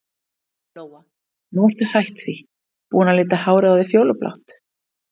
Lóa: Nú ertu hætt því, búin að lita hárið á þér fjólublátt?